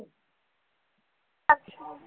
अच्छा.